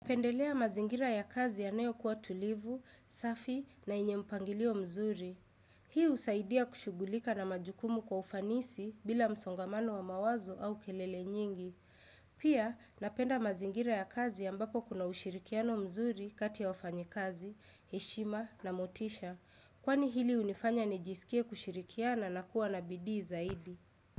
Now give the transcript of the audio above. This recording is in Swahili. Pendelea mazingira ya kazi yanayokuwa tulivu, safi na yenye mpangilio mzuri. Hii husaidia kushugulika na majukumu kwa ufanisi bila msongamano wa mawazo au kelele nyingi. Pia napenda mazingira ya kazi ambapo kuna ushirikiano mzuri kati ya wafanyikazi, heshima na motisha. Kwani hili hunifanya nijisikie kushirikiana na kuwa na bidii zaidi.